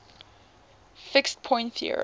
fixed point theorem